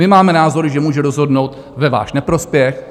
My máme názor, že může rozhodnout ve váš neprospěch.